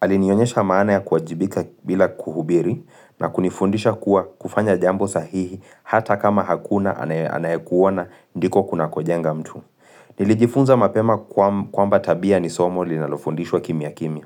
Alinionyesha maana ya kuwajibika bila kuhubiri, na kunifundisha kuwa kufanya jambo sahihi hata kama hakuna anayekuona ndiko kunakojenga mtu. Nilijifunza mapema kwamba tabia ni somo linalofundishwa kimya kimya.